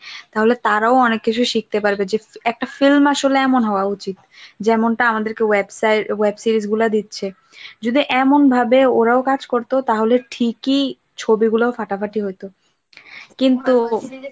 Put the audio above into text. তাহলে তারাও অনেক কিছু শিখতে পারবে যে একটা film আসলে এমন হওয়া উচিত যেমনটা আমাদেরকে ওয়েবসার web series গুলো দিচ্ছে যদি এমন ভাবে ওরাও কাজ করত তাহলে ঠিকই ছবিগুলো ফাটাফাটি হইত কিন্তু